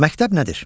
Məktəb nədir?